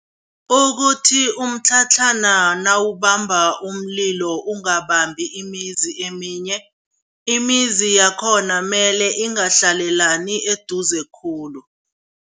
Ukuthi umtlhatlhana nawubamba umlilo ungabambi imizi eminye, imizi yakhona mele ingahlalelani eduze khulu.